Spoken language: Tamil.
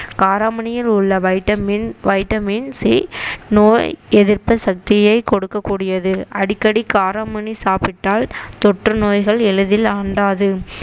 காரமணியில் உள்ள வைட்டமின் வைட்டமின் சி நோய் எதிர்ப்பு சக்தியை கொடுக்கக் கூடியது அடிக்கடி காராமணி சாப்பிட்டால் தொற்று நோய்கள் எளிதில் அண்டாது